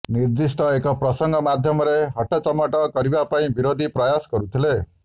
ନିର୍ଦ୍ଧିଷ୍ଟ ଏକ ପ୍ରସଙ୍ଗ ମାଧ୍ୟମରେ ହଟଚମଟ କରିବା ପାଇଁ ବିରୋଧୀ ପ୍ରୟାସ କରୁଥିଲେ